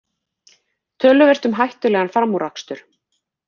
Töluvert um hættulegan framúrakstur